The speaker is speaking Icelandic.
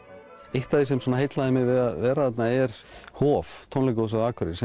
eitt af því sem heillaði mig við að vera þarna er Hof tónlistarhúsið á Akureyri sem